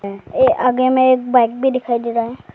ये आगे मे एक बाइक भी दिखाई दे रहा है।